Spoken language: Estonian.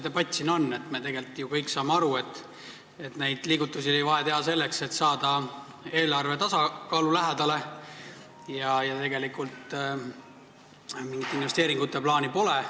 Me tegelikult saame ju kõik aru, et neid liigutusi oli vaja selleks, et saada eelarve tasakaalule lähemale, ja tegelikult mingit investeeringute plaani pole.